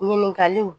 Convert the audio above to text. Ɲininkaliw